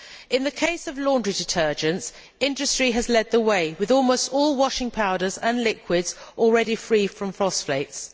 In the case of laundry detergents, industry has led the way, with almost all washing powders and liquids already free from phosphates.